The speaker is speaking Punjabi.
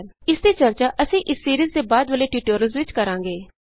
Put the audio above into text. i ਇਸਦੀ ਚਰਚਾ ਅਸੀਂ ਇਸ ਸਿਰੀਜ਼ ਦੇ ਬਾਦ ਵਾਲੇ ਟਯੂਟੋਰਿਅਲਸ ਵਿਚ ਕਰਾਂਗੇ